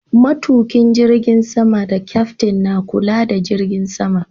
Matuƙin jirgin sama da Kyaftin na kula da jirgin sama.